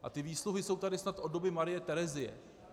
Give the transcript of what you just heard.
A ty výsluhy jsou tady snad od doby Marie Terezie.